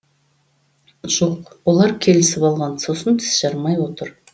жоқ олар келісіп алған сосын тіс жармай отыр